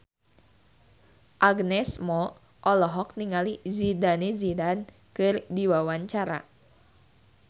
Agnes Mo olohok ningali Zidane Zidane keur diwawancara